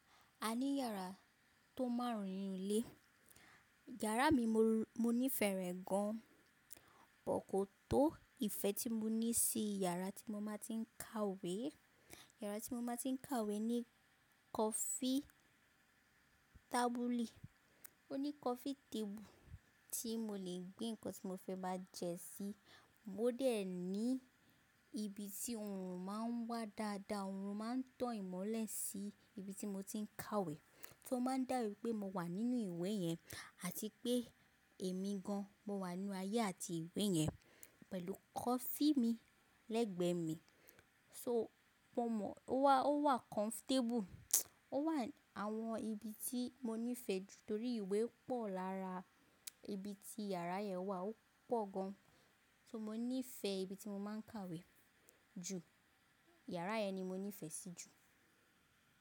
A ní yàrá tó márùn-ún nínú ilé. Yàrá mi mo nífẹ̀ẹ́ rẹ̀ gan, bọ̀ kọ̀tọ́ ìfẹ́ tí mo ní sí yàrá tí mo máa tí ń kàwé. Yàrá tí mo máa tí ń kàwé ní coffee table, ó ní coffee table tí mo lè gbé nǹkan tí mo fẹ́ máa jẹ sí. Mo dẹ̀ ní ibi tí oòrùn máa ń wà dáadáa, oòrùn máa ń tàn ìmọ́lẹ̀ sí ibi tí mo ti ń kàwé, so ó máa ń dà bíi pé mo wà nínú ìwé yẹn àti pé èmi gan mo wà nínú ayé àti ìwé yẹn pẹ̀lú coffee mi lẹ́gbẹ̀ẹ́ mi. So mo mọ̀ ó wà comfortable, ó wà àwọn ibi tí mo nífẹ̀ẹ́ jù torí ìwé pọ̀ lára ibi tí yàrá yẹn wà ó pọ̀ gan. So mo nífẹ̀ẹ́ ibi tí mo máa ń kàwé jù, yàrá yẹn ni mo nífẹ̀ẹ́ sí jù.